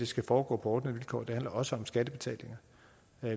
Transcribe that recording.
skal foregå på ordnede vilkår det handler også om skattebetalinger